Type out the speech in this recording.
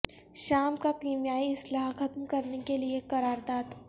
شام کا کیمیائی اسلحہ ختم کرنے کے لیے قرارداد